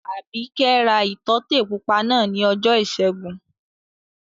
Àbíkẹ́ ra ìtọ́tè pupa náà ní ọjọ́ ìṣẹ́gun